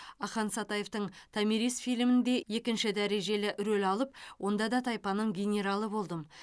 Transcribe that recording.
ақан сатаевтың томирис фильмінде екінші дәрежелі рөл алып онда да тайпаның генералы болдым